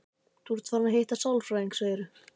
Þú ert farin að hitta sálfræðing, segirðu?